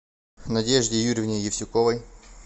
надежде юрьевне евсюковой